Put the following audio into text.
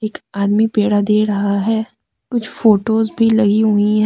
आदमी पेड़ा दे रहा है कुछ फोटोज भी लगी हुई है।